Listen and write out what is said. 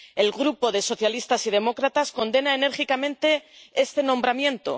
El Grupo de Socialistas y Demócratas condena enérgicamente este nombramiento.